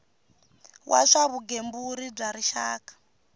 wa swa vugembuli bya rixaka